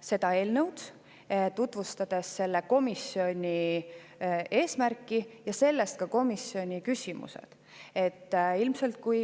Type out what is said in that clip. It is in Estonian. seda eelnõu, tutvustas selle komisjoni eesmärki, ja sellest ka komisjoni küsimused.